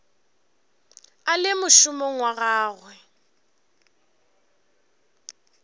a le mošomong wa gagwe